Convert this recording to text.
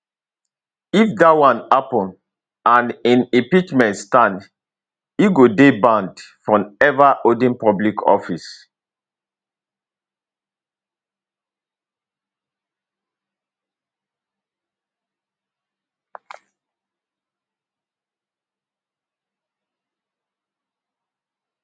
if dat one happen and im impeachment stand e go dey banned from ever holding public office